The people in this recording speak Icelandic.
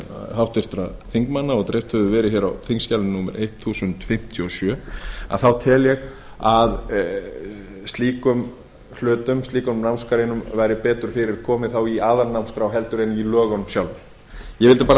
háttvirtra þingmanna og dreift hefur verið hér á þingskjali númer eitt þúsund fimmtíu og sjö tel ég að slíkum námsgreinum væri betur fyrir komið þá í aðalnámskrá en í lögunum sjálfum ég vildi bara að